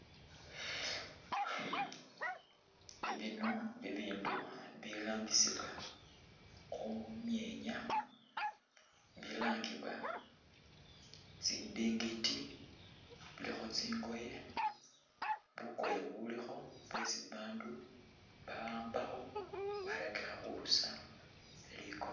Bino bibindu birambisibwa khumyenya bilangibwa tsindingiti bulikho tsingoye, bukoye bulikho bwesi babandu ba'ambakho bwarakikha khurusa likono